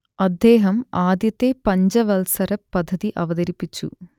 അദ്ദേഹം ആദ്യത്തെ പഞ്ചവത്സര പദ്ധതി അവതരിപ്പിച്ചു